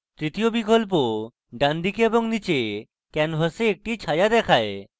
তৃতীয় বিকল্প ডানদিকে এবং নীচে canvas একটি ছায়া দেখায়